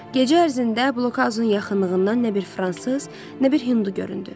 Gecə ərzində blokazanın yaxınlığından nə bir fransız, nə bir hindu göründü.